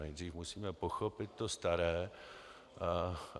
Nejdřív musíme pochopit to staré.